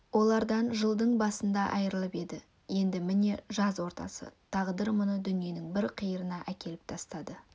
олардан жылдың басында айырылып еді енді міне жаз ортасы тағдыр мұны дүниенің бір қиырына әкеліп тастады